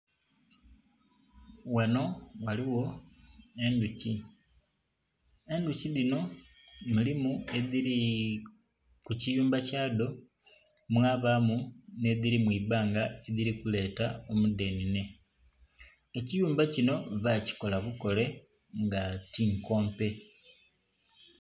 Ghanho ghaligho endhuki, endhuki dhino eriyo edhili ku kiyumba kya dho mwabamu nhe dhili mwibanga edhili kuleta omudhenene ekiyumba kinho bakikola bukole nga ti nkompe.